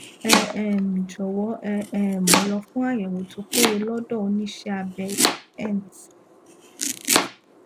ẹ um jọwọ ẹ um lọ fún àyẹwò tó péye lọdọ oníṣẹabẹ ent